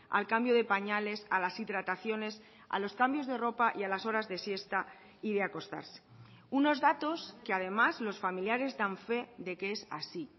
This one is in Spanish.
al cambio de pañales a las hidrataciones a los cambios de ropa y a las horas de siesta y de acostarse unos datos que además los familiares dan fe de que es así